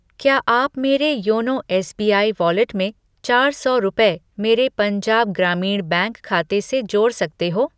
क्या आप मेरे योनो एसबीआई वॉलेट में चार सौ रुपये मेरे पंजाब ग्रामीण बैंक खाते से जोड़ सकते हो?